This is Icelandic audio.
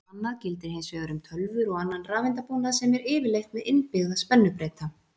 Annað gildir hins vegar um tölvur og annan rafeindabúnað sem er yfirleitt með innbyggða spennubreyta.